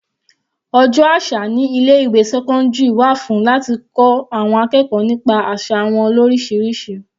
Ọjọ́ àṣà ní ilé ìwé sẹ́cọ́ndírì wà fún láti kọ́ àwọn akẹ́kọ̀ọ́ nípa àsà wọn lorisirisi.